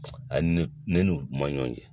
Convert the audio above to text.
Ayi ne ne n'u man ɲɔgɔn ye.